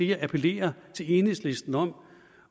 jeg appellerer til enhedslisten om